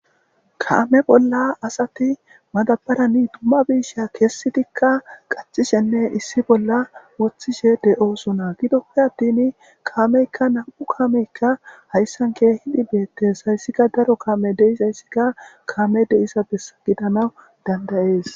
Kaame bolla asati madabarani dumma biisha kessitikka qaxishenne issi bolla woththishe de'oosona gidope attin kaameykka nam'u kaameykka hayssan ke hidi beettes hayssika daro kaame deis hayssika kaame deisa be gidana dandayees